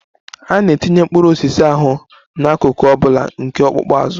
A na-etinye mkpụrụ osisi ahụ n'akụkụ ọ bụla nke ọkpụkpụ azụ.